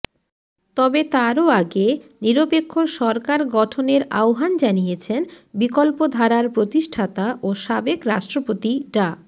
তবে তারও আগে নিরপেক্ষ সরকার গঠনের আহ্বান জানিয়েছেন বিকল্প ধারার প্রতিষ্ঠাতা ও সাবেক রাষ্ট্রপতি ডা